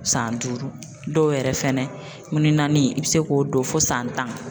San duuru dɔw yɛrɛ fɛnɛ min ni i be se k'o don fo san tan.